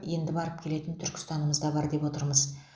енді барып келетін түркістанымызда бар деп отырмыз